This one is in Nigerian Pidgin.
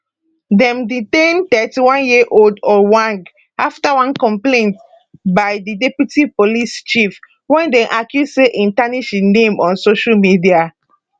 dem detain 31yearold ojwang afta one complaint by di deputy police chief wey dem accuse say e tarnish im name on social media